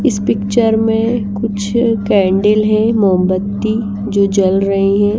इस पिक्चर में कुछ कैंडल है मोमबत्ती जो जल रही हैं।